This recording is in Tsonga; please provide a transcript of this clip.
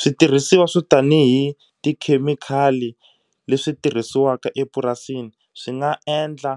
Switirhisiwa swo tanihi tikhemikhali leswi tirhisiwaka epurasini swi nga endla